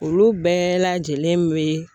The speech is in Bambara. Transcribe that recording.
Olu bɛɛ lajɛlen be